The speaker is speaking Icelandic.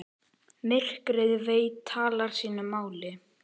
Myrkrið veit talar sínu máli.